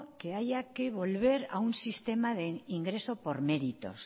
que haya que volver a un sistema de ingreso por méritos